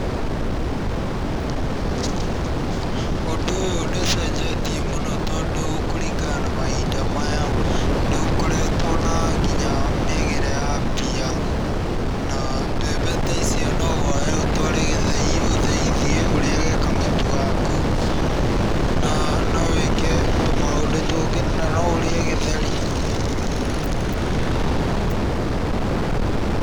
Ũndũ ũyũ nĩ ũcenjetie mũno tondũ kũringana na mahinda maya nĩ gũkoretwo na nginya mĩagĩre ya mbia na mbembe ta icio no woye ũtware gĩthĩi ũthĩithie, ũrĩage kamũtu gaku na no wĩke tũmaũndũ tũngĩ na no ũrĩe gĩtheri.